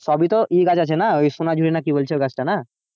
সবই তো ইয়ে গাছ আছে না ওই সোনাঝুরি না কি বলছো গাছটা না?